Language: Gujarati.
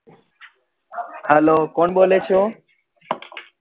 Hello કોણ બોલે છો